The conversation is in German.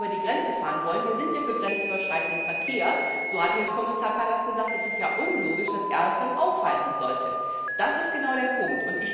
Und wenn sie über die Grenze fahren wollen wir sind ja für grenzüberschreitenden Verkehr, so hat es Kommissar Kallas gesagt ist es unlogisch, dass er es dann aufhalten sollte. Das ist genau der Punkt.